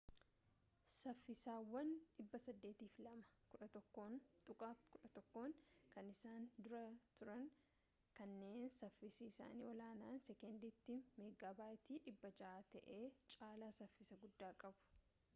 saffisawwan 802.11n kan isaan dura turan kanneen saffisi isaanii ol-aanaan sekoondiitti meeggaabiitii 600 ta'e caalaa saffisa guddaa qabu